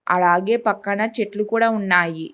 అలాగే పక్కన చెట్లు కూడా ఉన్నాయి.